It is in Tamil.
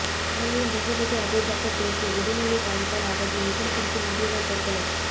எம்எல்ஏ முகம்மது அபுபக்கர் பேச்சு உடல்நிலை பாதிப்பால் அவதி விஷம் குடித்து முதியவர் தற்கொலை